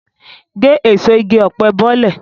Gé èso igi ọ̀pẹ bọ́lẹ̀!